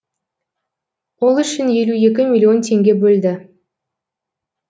ол үшін елу екі миллион теңге бөлді